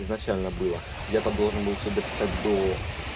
изначально было я то должен был дописать до